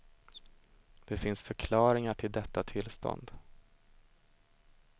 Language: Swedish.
Det finns förklaringar till detta tillstånd.